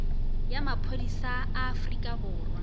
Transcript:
ya maphodisa a afrika borwa